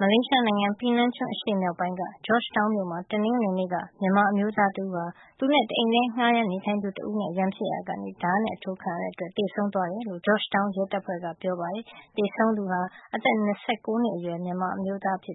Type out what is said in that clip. မလေးရှားနိုင်ငံ ပီနန်ကျွန်းအရှေ့မြောက်ပိုင်းက George Town မြို့မှာ တနင်္ဂနွေနေ့က မြန်မာအမျိုးသားတဦးဟာ သူနဲ့တအိမ်ထဲ ငှါးရမ်းနေထိုင်သူ တဦးနဲ့ ရန်ဖြစ်ရာကနေ ဓါးနဲ့ထိုးခံရတဲ့အတွက် သေဆုံးသွားတယ်လို့ George Town ရဲတပ်ဖွဲ့က ပြောပါတယ်။ သေဆုံးသူ အသက် ၂၉ နှစ်အရွယ် မြန်မာအမျိုးသားဟာ